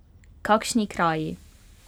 Kakšni kraji!